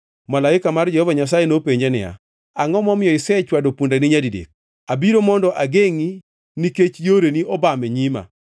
Malaika mar Jehova Nyasaye nopenje niya, “Angʼo momiyo isechwado pundani nyadidek? Abiro mondo agengʼi nikech yoreni obam e nyima.